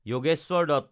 Jogeshwar Dutta